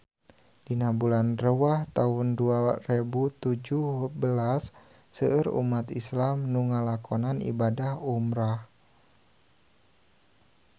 Dina bulan Rewah taun dua rebu tujuh belas seueur umat islam nu ngalakonan ibadah umrah